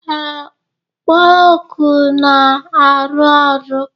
Ee, kpo oku na-arụ ọrụ